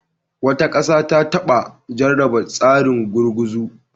Wata ƙasa ta taba jarraba tsarin gurguzu.